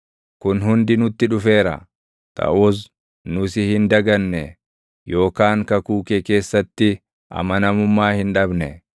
Kun hundi nutti dhufeera; taʼus nu si hin daganne; yookaan kakuu kee keessatti amanamummaa hin dhabne.